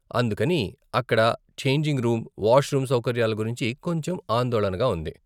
అందుకని, అక్కడ changing room, washroom సౌకర్యాల గురించి కొంచెం ఆందోళనగా ఉంది.